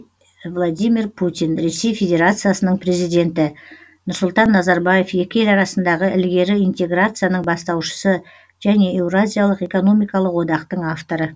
владимир путин ресей федерациясының президенті нұрсұлтан назарбаев екі ел арасындағы ілгері интеграцияның бастаушысы және еуразиялық экономикалық одақтың авторы